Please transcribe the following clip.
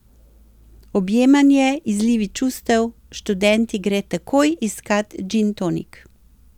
Objemanje, izlivi čustev, študent ji gre takoj iskat džintonik.